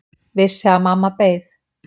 Vissi að mamma beið.